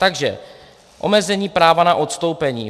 Takže - omezení práva na odstoupení.